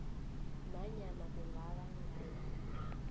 nanyana kungaba ngayiphi